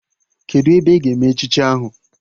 Kedụ ebe a ga-eme echichi ahụ?